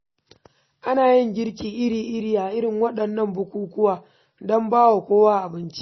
Ana yin girki iri-iri a irin waɗannan bukukkuwa don ba wa kowa abinci.